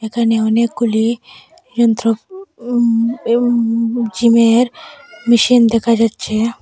এখানে অনেকগুলি যন্ত্র উম উম জিমের মেশিন দেখা যাচ্ছে।